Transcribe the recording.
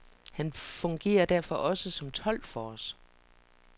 Han fungerer derfor også som tolk for os.